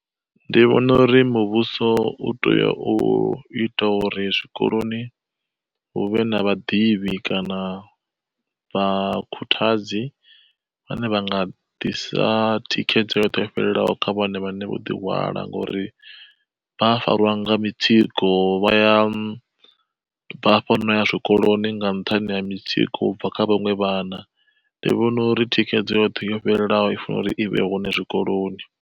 Ndi vhona uri muvhuso u tea u ita uri zwikoloni hu vhe na vhaḓivhi kana vha khuthadzi, vhane vha nga ḓisa thikhedzo yoṱhe yo fhelelaho kha vhana vhane vho ḓi hwala. Ngori vha a farwa nga mitsiko vha ya bvafha nau ya zwikoloni nga nṱhani ha mitsiko ubva kha vhaṅwe vhana, ndi vhona uri thikhedzo yoṱhe yo fhelelaho i funa uri i vhe hone zwikoloni.